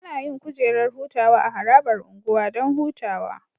Anayin kujerar hutawa a harabar unguwa Dan hutawa